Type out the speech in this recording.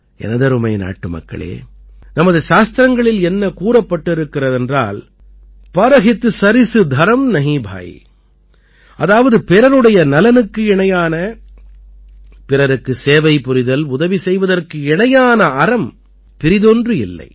எனதருமை நாட்டுமக்களே நமது சாஸ்திரங்களில் என்ன கூறப்பட்டிருக்கிறதென்றால் பரஹித் சரிஸ் தரம் நஹீன் பாயி அதாவது பிறருடைய நலனுக்கு இணையான பிறருக்கு சேவை புரிதல் உதவி செய்வதற்கு இணையான அறம் பிறிதொன்று இல்லை